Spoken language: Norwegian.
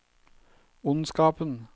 ondskapen